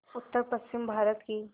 उत्तरपश्चिमी भारत की